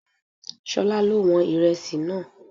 Ṣolá ló wọn Ìrẹsì náà.